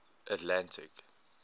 atlantic